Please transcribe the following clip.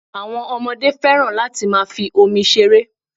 Àwọn ọmọdé féràn láti máa fi omi ṣeré.